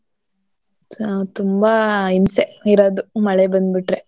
So ತುಂಬಾ ಹಿಂಸೆ ಇರೋದು ಮಳೆ ಬಂದ್ಬಿಟ್ರೆ.